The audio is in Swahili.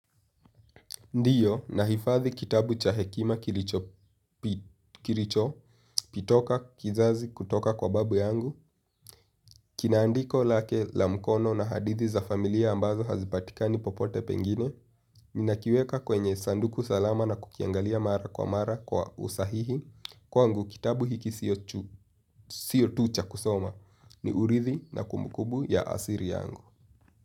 Ndiyo, nahifadhi kitabu cha hekima kilicho toka kizazi kutoka kwa babu yangu. Kina andiko lake la mkono na hadithi za familia ambazo hazipatikani popote pengine. Ninakiweka kwenye sanduku salama na kukiangalia mara kwa mara kwa usahihi. Kwangu kitabu hiki sio tu cha kusoma ni urithi na kumbukumbu ya asili yangu.